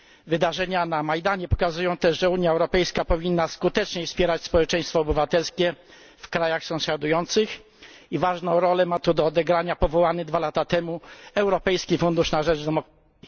Wydarzenia na Majdanie pokazują też, że Unia Europejska powinna skuteczniej wspierać społeczeństwo obywatelskie w krajach sąsiadujących i ważną rolę ma tu do odegrania powołany dwa lata temu Europejski Fundusz na rzecz Demokracji.